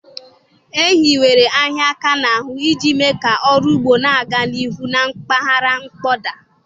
E hiwere ịhịa áká n'ahụ iji mee ka ọrụ ugbo na-aga n'ihu na mpaghara mkpọda.